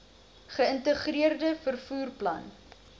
geïntegreerde vervoer plan